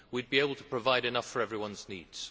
We would be able to provide enough for everyone's needs.